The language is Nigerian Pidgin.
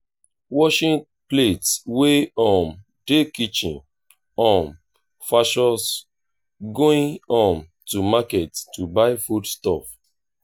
washing plates wey um dey kitchen um vs going um to market to buy food stuff